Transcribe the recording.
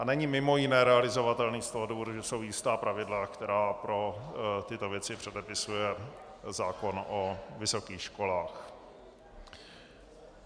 A není mimo jiné realizovatelný z toho důvodu, že jsou jistá pravidla, která pro tyto věci předepisuje zákon o vysokých školách.